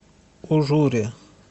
ужуре